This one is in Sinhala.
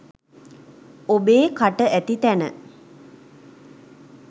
ඔබේ කට ඇති තැන